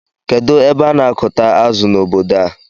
Kedụ ebe ana akuta azụ na ọbọdọ a?